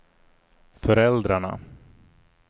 föräldrarna